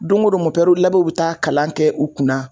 Don ko don bɛ ta kalan kɛ u kunna.